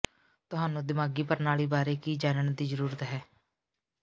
ਤੁਹਾਨੂੰ ਦਿਮਾਗੀ ਪ੍ਰਣਾਲੀ ਬਾਰੇ ਕੀ ਜਾਣਨ ਦੀ ਜ਼ਰੂਰਤ ਹੈ